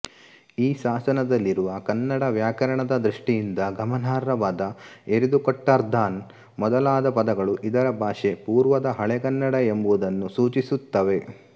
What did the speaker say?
ಈ ಶಾಸನದಲ್ಲಿರುವ ಕನ್ನಡ ವ್ಯಾಕರಣದ ದೃಷ್ಟಿಯಿಂದ ಗಮನಾರ್ಹವಾದ ಎರಿದುಕೊಟ್ಟಾರ್ಅದಾನ್ ಮೊದಲಾದ ಪದಗಳು ಇದರ ಭಾಷೆ ಪೂರ್ವದ ಹಳೆಗನ್ನಡ ಎಂಬುದನ್ನು ಸೂಚಿಸುತ್ತವೆ